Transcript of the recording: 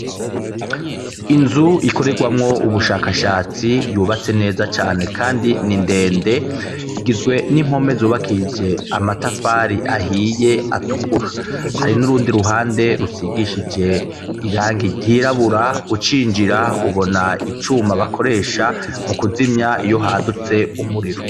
Inzu ikorerwamwo ubushakashatsi yubatse neza cane kandi ni ndende, igizwe n'impome zubakishije amatafari ahiye atukura, hari n'urundi ruhande rusigishije irangi ryirabura, ucinjira ubona icuma bakoresha mu kuzimya iyo hadutse umuriro.